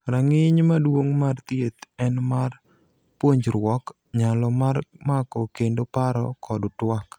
rang'iny maduong' mar thieth en mar puonjruok, nyalo mar mako kendo paro kod twak